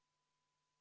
Henn Põlluaas, palun!